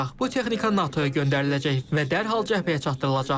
Bu texnika NATO-ya göndəriləcək və dərhal cəbhəyə çatdırılacaq.